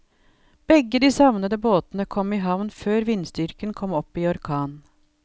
Begge de savnede båtene kom i havn før vindstyrken kom opp i orkan.